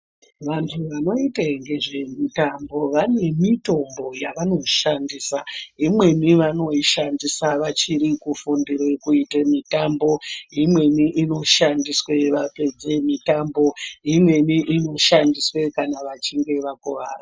Vanhu vanoita nezvemitambo vane mitombo yavanoshandisa imweni vanoishandisa vachiri kufundira kuita mitambo imweni inoshandiswa kana vachinge vakuwara.